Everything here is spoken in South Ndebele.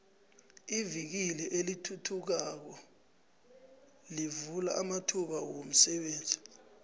ivikili elithuthukayo lovula amathuba womsebenzi